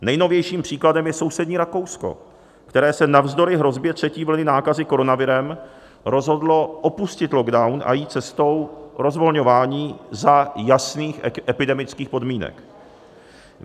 Nejnovějším příkladem je sousední Rakousko, které se navzdory hrozbě třetí vlny nákazy koronavirem rozhodlo opustit lockdown a jít cestou rozvolňování za jasných epidemických podmínek.